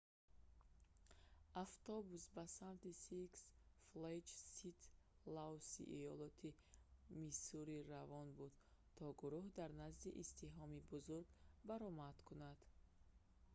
автобус ба самти six flags st. louis‑и иёлоти миссури равон буд то гурӯҳ дар назди издиҳоми бузург баромад кунад